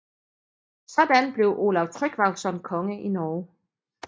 Sådan blev Olav Tryggvason konge i Norge